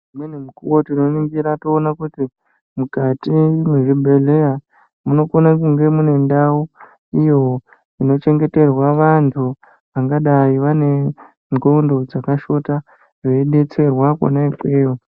Imweni nguwa tinoningira toona kuti mukati mwezvibhedhleya munokona kunge mune ndau iyo inochengeterwa vantu vangadai vane ndxondo dzakashota, veidetserwa kona ikweyo.